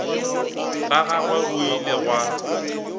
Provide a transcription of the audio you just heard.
ga gagwe go ile gwa